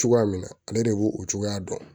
Cogoya min na ale de b'o o cogoya dɔn